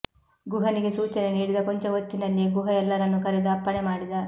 ಗುಹನಿಗೆ ಸೂಚನೆ ನೀಡಿದ ಕೊಂಚಹೊತ್ತಿನಲ್ಲಿಯೇ ಗುಹ ಎಲ್ಲರನ್ನೂ ಕರೆದು ಅಪ್ಪಣೆ ಮಾಡಿದ